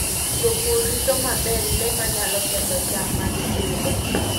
Jopur rito maber le manyalo ketho cham ma gipidho.